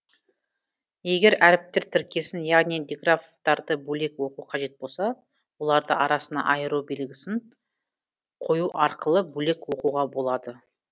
егер әріптер тіркесін яғни диграфтарды бөлек оқу қажет болса олардың арасына айыру белгісін қойу арқылы бөлек оқуға болады